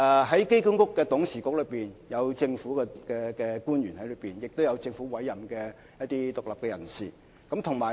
在機管局的董事局內，有政府官員及由政府委任的獨立人士。